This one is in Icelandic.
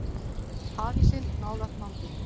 Hafísinn nálægt landi